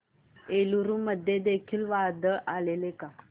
एलुरू मध्ये देखील वादळ आलेले का